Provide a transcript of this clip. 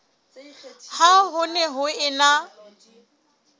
ha ho ne ho ena